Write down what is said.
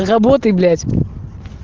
работай блять